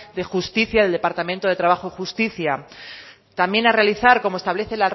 de justicia del departamento de trabajo y justicia también a realizar como establece